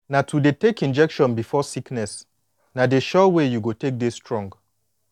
na to dey take injection before sickness na de sure way you go take dey strong